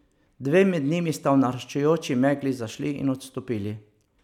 Dve med njimi sta v naraščajoči megli zašli in odstopili.